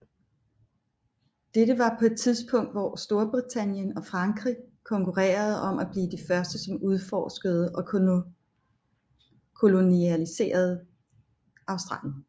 Dette var på et tidspunkt hvor Storbritannien og Frankrig konkurrerede om at blive de første som udforskede og koloniserede Australien